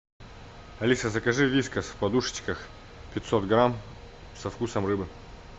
алиса закажи вискас в подушечках пятьсот грамм со вкусом рыбы